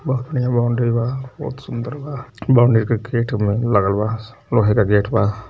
बहुत बढ़िया बाउंड्री बा बहुत सुन्दर बा बाउंड्री के गेट में लागलबा लोहे का गेट बा।